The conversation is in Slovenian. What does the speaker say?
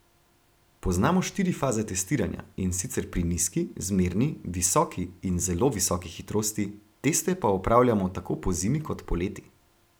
Poznamo štiri faze testiranja, in sicer pri nizki, zmerni, visoki in zelo visoki hitrosti, teste pa opravljamo tako pozimi kot poleti.